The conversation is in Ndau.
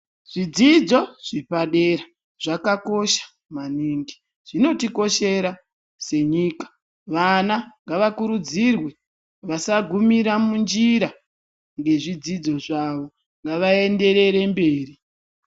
Zvidzidzo zvepadera zvakakosha maningi zvinotikoshera senyika, vana ngavakurudzirwe vasagumira munjira ngezvidzidzo zvavo ngavaenderere mberi.